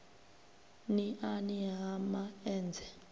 n iani ha ma enzhe